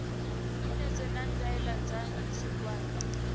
minetse na ndaela dza tshigwada